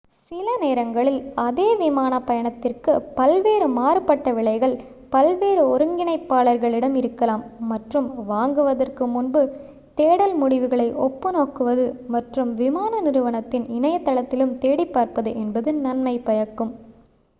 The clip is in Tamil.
சில நேரங்களில் அதே விமான பயணத்திற்கு பல்வேறு மாறுபட்ட விலைகள் பல்வேறு ஒருங்கிணைப்பாளர்களிடம் இருக்கலாம் மற்றும் வாங்குவதற்கு முன்பு தேடல் முடிவுகளை ஒப்பு நோக்குவது மற்றும் விமான நிறுவனத்தின் இணையதளத்திலும் தேடிப் பார்ப்பது என்பது நன்மை பயக்கும்